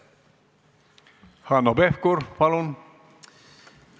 Hanno Pevkur, palun!